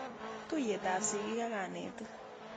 Tuyet ap sigik ak kanetik.